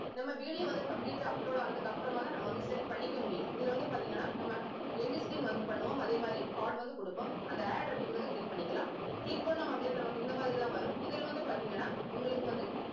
நம்ம video வந்து complete ஆ upload ஆனதுக்கு அப்புறமாதான் நம்ம வந்து set பண்ணிக்க முடியும். இதுல வந்து பார்த்தீங்கன்னா நம்ம end screen வந்து பண்ணுவோம். அதே மாதிரி card வந்து கொடுப்போம். அந்த add அப்படிங்கிறதை click பண்ணிக்கலாம் click பண்ணோம் அப்படின்னா நமக்கு இந்த மாதிரிதான் வரும். இதுல வந்து பார்த்தீங்கன்னா உங்களுக்கு வந்து